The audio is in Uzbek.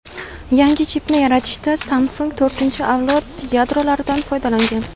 Yangi chipni yaratishda Samsung to‘rtinchi avlod yadrolaridan foydalangan.